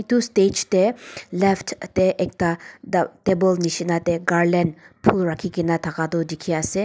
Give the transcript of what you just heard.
etu stage teh left teh ekta the table nisna teh garland phul rakhi ke na thaka tu dikhi ase.